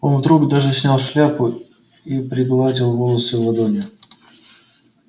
он вдруг даже снял шляпу и пригладил волосы ладонью